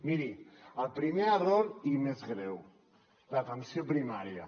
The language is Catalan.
miri el primer error i més greu l’atenció primària